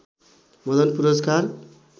मदन पुरस्कार